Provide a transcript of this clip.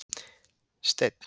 Steinn